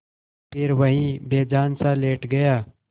फिर वहीं बेजानसा लेट गया